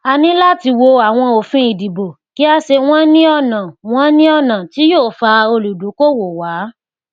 a ní láti wo àwọn òfin ìdìbò kí a ṣe wọn ní ọnà wọn ní ọnà tí yóò fa olùdókòwò wá